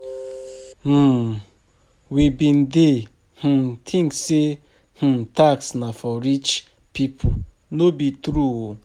um We bin dey um think say um tax na for rich people, no be true o.